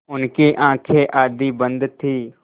उनकी आँखें आधी बंद थीं